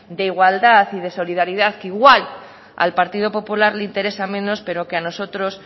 de igualdad y de solidaridad que igual al partido popular le interesa menos pero que a nosotros